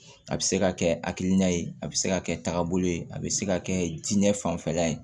A bɛ se ka kɛ a hakilina ye a bɛ se ka kɛ tagabolo ye a bɛ se ka kɛ diinɛ fanfɛla ye